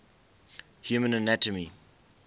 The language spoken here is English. human anatomy